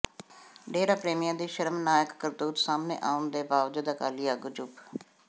ਡੇਰਾ ਪ੍ਰੇਮੀਆਂ ਦੀ ਸ਼ਰਮਨਾਕ ਕਰਤੂਤ ਸਾਹਮਣੇ ਆਉਣ ਦੇ ਬਾਵਜੂਦ ਅਕਾਲੀ ਆਗੂ ਚੁੱਪ